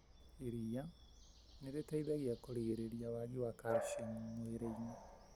Iria nĩ rĩteithagia kũrigĩrĩrĩria wagi wa calciamu mwĩriini.